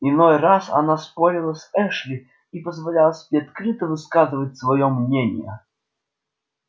иной раз она спорила с эшли и позволяла себе открыто высказывать своё мнение